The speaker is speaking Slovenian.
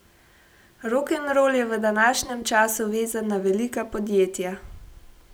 Rokenrol je v današnjem času vezan na velika podjetja.